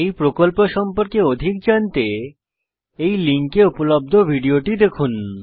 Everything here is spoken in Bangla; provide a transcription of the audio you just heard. এই প্রকল্প সম্পর্কে অধিক জানতে এই লিঙ্কে উপলব্ধ ভিডিওটি দেখুন